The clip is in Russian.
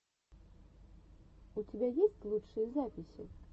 у тебя есть лучшие записи